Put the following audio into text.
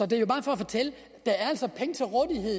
det er bare for at fortælle